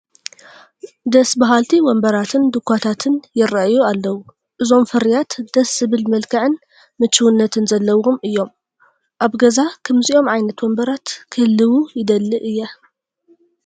ደስ በሃልቲ ወንበራትን ዱዃታትን ይርአዩ ኣለዉ፡፡ እዞም ፍርያት ደስ ዝብል መልክዕን ምቹውነትን ዘለዎም እዮም፡፡ ኣብ ገዛ ከምዚኦም ዓይነት ወንበራት ክህልዉ ይደሊ እየ፡፡